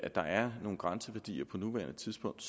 der er nogle grænseværdier på nuværende tidspunkt